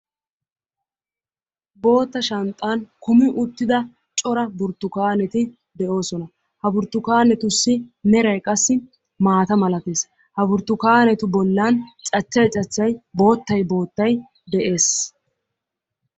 Bootta shanxxan kummi uttida cora burttukaneti de'oosona; ha burttukanetussi meray maata malatees; ha burttukanetu bollan cachchay cachchay boottay boottay de'ees.